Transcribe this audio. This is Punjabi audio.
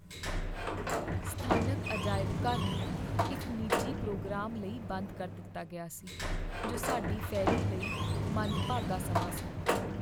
ਸਥਾਨਕ ਅਜਾਇਬ ਘਰ ਨੂੰ ਇੱਕ ਨਿੱਜੀ ਪ੍ਰੋਗਰਾਮ ਲਈ ਬੰਦ ਕਰ ਦਿੱਤਾ ਗਿਆ ਸੀ, ਜੋ ਸਾਡੀ ਫੇਰੀ ਲਈ ਮੰਦਭਾਗਾ ਸਮਾਂ ਸੀ।